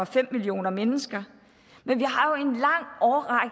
fem millioner mennesker men vi